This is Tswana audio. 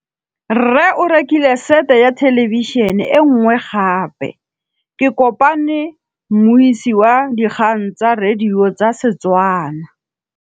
Rre o rekile sete ya thêlêbišênê e nngwe gape. Ke kopane mmuisi w dikgang tsa radio tsa Setswana.